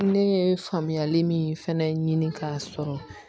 Ne ye faamuyali min fɛnɛ ɲini ka sɔrɔ